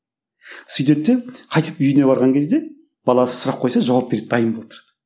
сөйтеді де қайтып үйіне барған кезде баласы сұрақ қойса жауап береді дайын болып отырады